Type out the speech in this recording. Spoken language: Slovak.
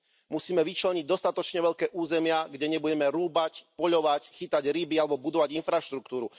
Musíme vyčleniť dostatočne veľké územia, kde nebudeme rúbať, poľovať, chytať ryby alebo budovať infraštruktúru.